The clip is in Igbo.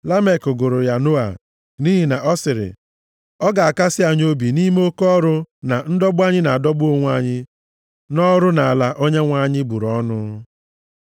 Lamek gụrụ ya Noa, nʼihi na ọ sịrị: “Ọ ga-akasị anyị obi nʼime oke ọrụ na ndọgbu anyị na-adọgbu onwe anyị nʼọrụ nʼala a Onyenwe anyị bụrụ ọnụ.”